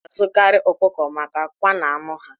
A na-azụkarị ọkụkọ maka akwa na anụ ha.